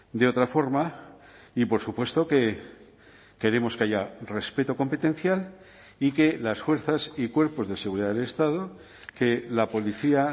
de otra forma y por supuesto que queremos que haya respeto competencial y que las fuerzas y cuerpos de seguridad del estado que la policía